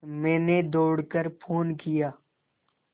मैंने दौड़ कर फ़ोन किया